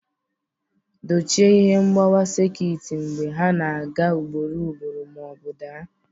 Dochie ihe mgbawa sekit mgbe ha na-aga ugboro ugboro ma ọ bụ daa.